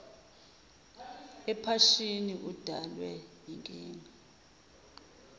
ephashini udalwe yinkinga